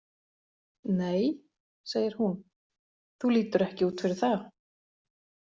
Nei, segir hún, þú lítur ekki út fyrir það!